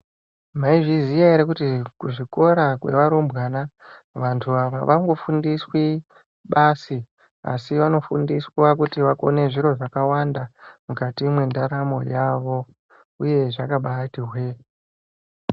Maizviziya ere kuti kuzvikora kwevarumbwana vantu ava avangofundiswi basi asi vanofundiswa kuti vakone zviro zvakawanda mukati mwendaramo yavo uye zvakabaati hwe.